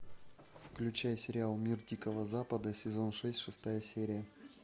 включай сериал мир дикого запада сезон шесть шестая серия